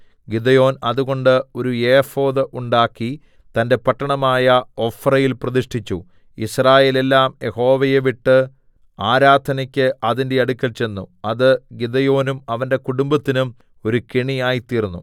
Gideon അതുകൊണ്ട് ഒരു ephod ഉണ്ടാക്കി തന്റെ പട്ടണമായ ഒഫ്രയിൽ പ്രതിഷ്ഠിച്ചു യിസ്രായേലെല്ലാം യഹോവയെ വിട്ട് ആരാധനക്ക് അതിന്റെ അടുക്കൽ ചെന്നു അത് ഗിദെയോനും അവന്റെ കുടുംബത്തിനും ഒരു കെണിയായി തീർന്നു